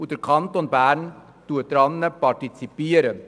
der Kanton Bern partizipiert daran.